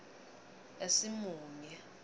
esimunye